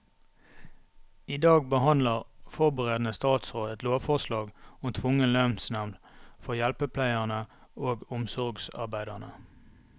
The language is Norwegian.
I dag behandler forberedende statsråd et lovforslag om tvungen lønnsnevnd for hjelpepleierne og omsorgsarbeiderne.